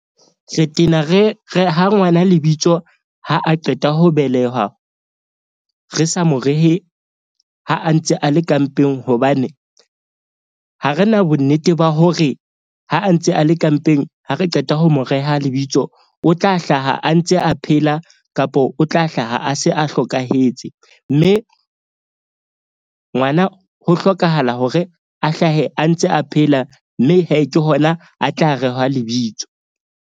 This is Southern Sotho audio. Re tena re reha ngwana lebitso ha a qeta ho belehwa. Re sa mo rehe ha a ntse a le ka mpeng hobane ha re na bonnete ba hore ha a ntse a le ka mpeng, ha re qeta ho mo reha lebitso, o tla hlaha a ntse a phela kapo o tla hlaha, a se a hlokahetse. Mme ngwana ho hlokahala hore a hlahe a ntse a phela mme ke hona a tla rehwa lebitso.